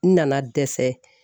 N nana dɛsɛ